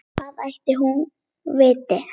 Hvað ætli hún viti?